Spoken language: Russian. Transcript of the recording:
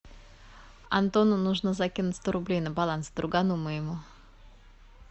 антону нужно закинуть сто рублей на баланс другану моему